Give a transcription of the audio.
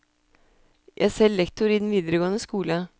Jeg er selv lektor i den videregående skole.